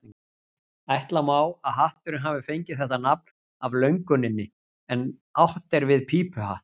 Ætla má að hatturinn hafi fengið þetta nafn af löguninni en átt er við pípuhatt.